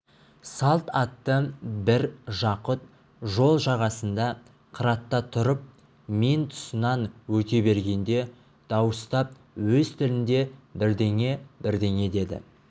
салт атты бір жақұт жол жағасында қыратта тұрып мен тұсынан өте бергенде дауыстап өз тілінде бірдеңе-бірдеңе деді